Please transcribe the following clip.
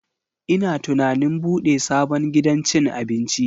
Ina tunanin bude sabon gidan cin abinci.